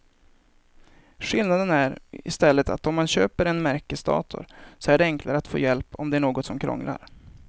Skillnaden är i stället att om man köper en märkesdator så är det enklare att få hjälp om det är något som krånglar.